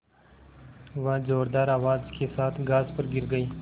वह ज़ोरदार आवाज़ के साथ घास पर गिर गई